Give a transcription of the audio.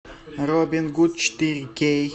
робин гуд четыре кей